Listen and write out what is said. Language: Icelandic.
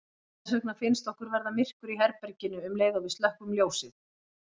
Þess vegna finnst okkur verða myrkur í herberginu um leið og við slökkvum ljósið.